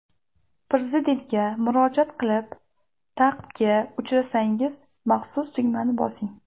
Prezidentga murojaat qilib ta’qibga uchrasangiz, maxsus tugmani bosing.